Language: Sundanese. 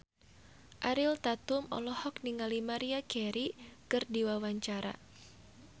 Ariel Tatum olohok ningali Maria Carey keur diwawancara